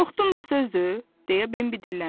Qorxdum da sözdür, deyə Bambi dilləndi.